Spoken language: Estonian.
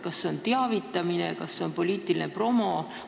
Kas see on teavitamine, poliitiline promo?